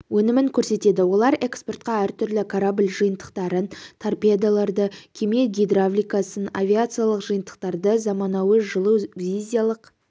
өнімін көрсетеді олар экспортқа әртүрлі корабль жиынтықтарын торпедаларды кеме гидравликасын авиациялық жиынтықтарды заманауи жылу визиялық